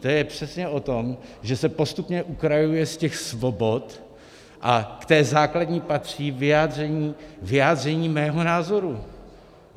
To je přesně o tom, že se postupně ukrajuje z těch svobod, a k té základní patří vyjádření mého názoru.